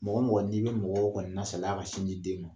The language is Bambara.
Mɔgɔ o mɔgɔ n'i bɛ mɔgɔw kɔni lasalaya ka sin di den ma.